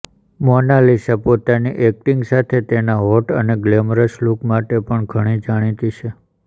મોનાલિસા પોતાની એક્ટિંગ સાથે તેના હોટ અને ગ્લેમરસ લુક માટે પણ ઘણી જાણીતી છે